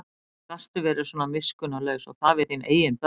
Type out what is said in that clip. Hvernig gastu verið svona miskunnarlaus og það við þín eigin börn?